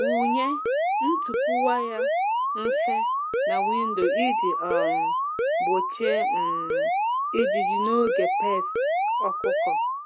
Wụnye ntupu waya mfe na windo iji um gbochie um ijiji n’oge pests ọkụkọ.